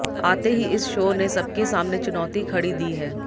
आते ही इस शो ने सबके सामने चुनौती खड़ी दी है